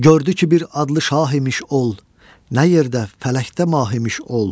Gördü ki, bir adlı şah imiş ol, nə yerdə, fələkdə mah imiş ol.